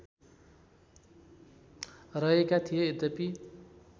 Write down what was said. रहेका थिए यद्यपि